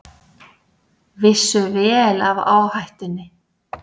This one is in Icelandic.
Vissu vel af áhættunni